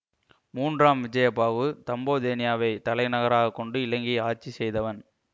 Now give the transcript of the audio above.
மூன்றாம் விஜயபாகு தம்போதேனியாவைத் தலைநகராக கொண்டு இலங்கை ஆட்சி செய்தவன்